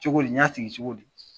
Cogo di n y'a sigi cogo di.